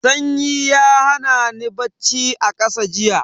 Sanyi ya hana ni bacci a ƙasa jiya.